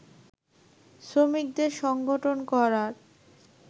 শ্রমিকদের সংগঠন করার